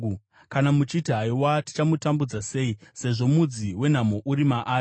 “Kana muchiti, ‘Haiwa tichamutambudza sei, sezvo mudzi wenhamo uri maari,’